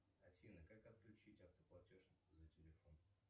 афина как отключить автоплатеж за телефон